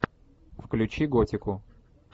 включи готику